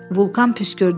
Vulkan püskürdü.